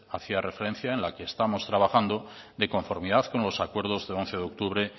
hacía referencia en la que estamos trabajando de conformidad con los acuerdos del once de octubre